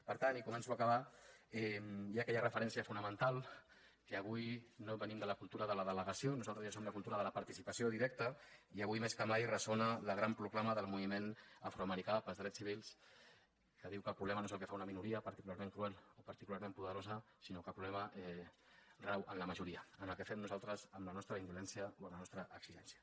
per tant i començo a acabar hi ha aquella referència fonamental que avui no venim de la cultura de la delegació nosaltres ja som de la cultura de la participació directa i avui més que mai ressona la gran proclama del moviment afroamericà pels drets civils que diu que el problema no és el que fa una minoria particularment cruel o particularment poderosa sinó que el problema rau en la majoria en el que fem nosaltres amb la nostra indolència o amb la nostra exigència